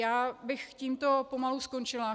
Já bych tímto pomalu skončila.